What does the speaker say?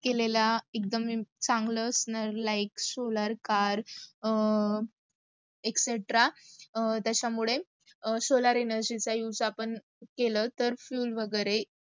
केलेला एक्दम चांगलं असणं like solar car, etc त्याचा मुडे solar energy चा use आपण तर fuel वगैरे